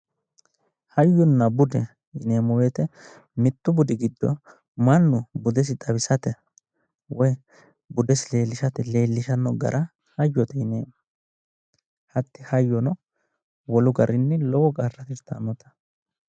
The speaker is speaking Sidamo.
Hayyona bude yineemmo wote mittu budi giddo mannu budesi xawisate woy budesi leellishate leellishshanno gara hayyote yineemmo hatti hayyono wolu garinni lowp qarra tirtanno.